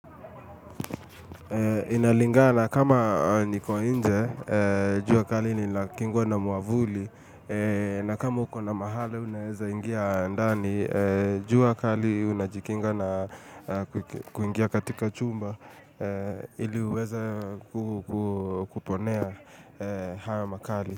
Inalinga na kama niko nje, jua kali ni la kingwa na mwavuli, na kama uko na mahala unaweza ingia ndani, jua kali unajikinga na kuingia katika chumba ili uweze kuponea haya makali.